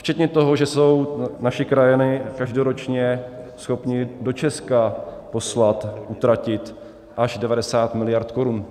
Včetně toho, že jsou naši krajané každoročně schopni do Česka poslat, utratit až 90 miliard korun.